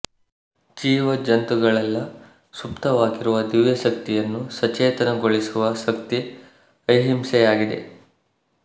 ಜೀವ ಜಂತುಗಳಲ್ಲೆಲ್ಲ ಸುಪ್ತವಾಗಿರುವ ದಿವ್ಯಶಕ್ತಿಯನ್ನು ಸಚೇತನ ಗೊಳಿಸುವ ಶಕ್ತಿ ಅಹಿಂಸೆಗಿದೆ